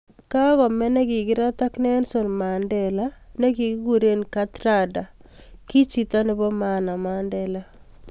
Kagomee negigirat ak nelson mandela ningiguure kathrada, ki chito nebo maana mandela